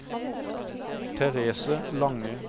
Therese Lange